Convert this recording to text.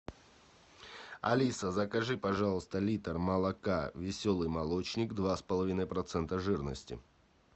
алиса закажи пожалуйста литр молока веселый молочник два с половиной процента жирности